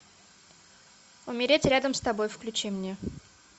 умереть рядом с тобой включи мне